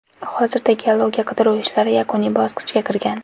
Hozirda geologiya-qidiruv ishlari yakuniy bosqichga kirgan.